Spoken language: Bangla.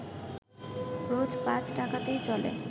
রোজ পাঁচ টাকাতেই চলে